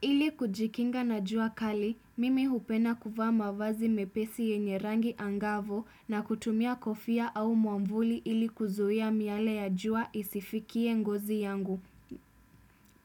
Ili kujikinga na jua kali, mimi hupenda kuvaa mavazi mepesi yenye rangi angavu na kutumia kofia au mwavuli ili kuzuia miale ya jua isifikie ngozi yangu.